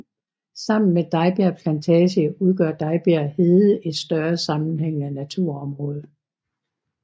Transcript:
Sammen med Dejbjerg Plantage udgør Dejbjerg hede et større sammenhængende naturområde